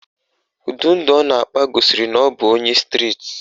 Ụdị ndụ ọ na-akpa gosiri na ọ bụ onye striti